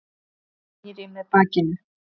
Snýr í mig bakinu.